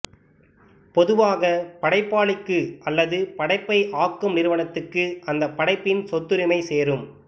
பொதுவாக படைப்பாளிக்கு அல்லது படைப்பை ஆக்கும் நிறுவனத்துக்கு அந்த படைப்பின் சொத்துரிமை சேரும்